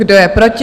Kdo je proti?